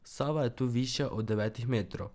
Sava je tu višja od devetih metrov.